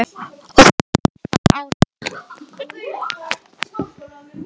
Og þú ert á sextánda árinu.